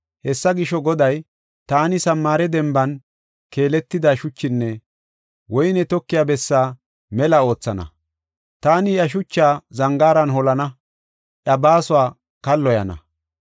Hessa gisho, Goday, “Taani Samaare, denban keeletida shuchinne woyney tokiya bessa mela oothana. Taani iya shuchaa zangaaran holana; iya baasuwa kalloyana.